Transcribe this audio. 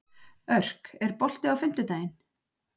Örk, er bolti á fimmtudaginn?